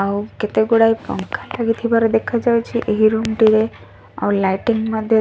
ଆଉ କେତେଗୁଡାଏ ପଙ୍ଖା ଲାଗିଥିବାର ଦେଖାଯାଉଛି। ଏହି ରୁମ୍ ଟିରେ ଆଉ ଲାଇଟିଙ୍ଗ୍ ମଧ୍ଯ --